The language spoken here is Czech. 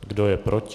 Kdo je proti?